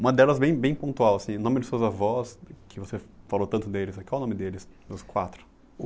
Uma delas bem bem pontual assim, o nome dos seus avós, que você falou tanto deles aqui, qual o nome deles, dos quatro?